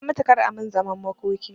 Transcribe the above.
In na mutu kar a min zaman makoki